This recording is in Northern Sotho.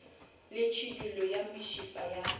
le tšhidullo ya mešifa ya